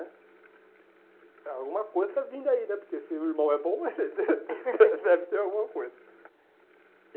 Alguma coisa está vindo aí né, porque se meu irmão é bom, deve ter alguma coisa.